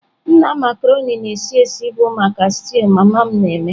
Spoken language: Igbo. Nna Marconi na-esi esi bụ maka stew mama na-eme.